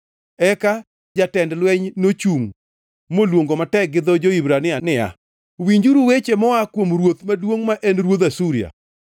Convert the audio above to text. Eka jatend lweny nochungʼ moluongo matek gi dho jo-Hibrania niya, “Winjuru weche moa kuom ruoth maduongʼ ma en ruodh Asuria!